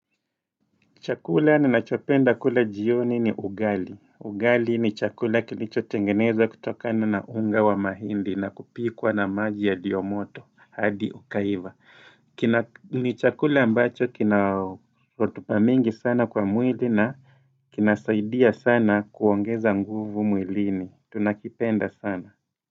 Chakula ni nachopenda kule jioni ni ugali. Ugali ni chakula kilichotengeneza kutokana nunga wa mahindi na kupikwa na maji yalio moto, hadi ukaiva. Ni chakula ambacho kina rutuba mingi sana kwa mwili na kinasaidia sana kuongeza nguvu mwilini. Tunakipenda sana.